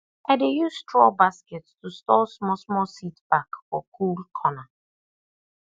i dey use straw basket to store smallsmall seed pack for cool corner